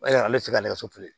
ale ti se ka ne ka so feere